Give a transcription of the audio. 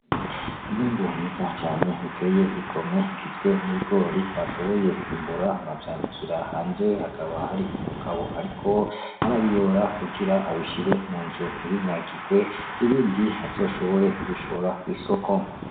Umwimbu mwiza cane uteye igomwe ugizwe n'ibigori bashoboye kwimbura bavyanikira hanze, hakaba hari umugabo ariko arabiyora kugira abishire mu nzu ntibinyagirwe ibindi azoshobore kubishora kw'isoko.